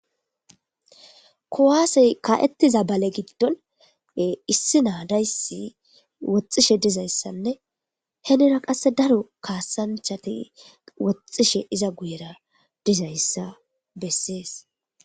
Kowaasey ka7ettiza bale giddon issi naadayssi woxxishe dizayssanne henera qasse daro kaasanchati woxxishe iza guyera dizayssa bessees.